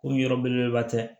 Ko yɔrɔ belebeleba tɛ